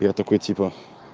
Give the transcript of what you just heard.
я такой типа